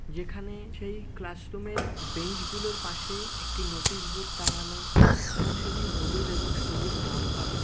যেখানে সেই class room -এর বেঞ্চ -গুলোর পাশে একটি নোটিশ বোর্ড টাঙ্গানো। এবং সেটি হলুদ এবং সবুজ রং করা।